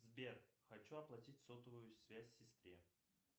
сбер хочу оплатить сотовую связь сестре